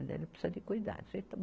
Ele precisa de cuidados.